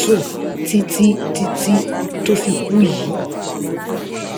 sùn títí títí tó fi kú yìí